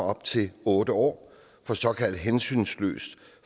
op til otte år for såkaldt hensynsløs